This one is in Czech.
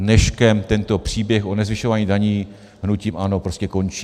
Dneškem tento příběh o nezvyšování daní hnutím ANO prostě končí.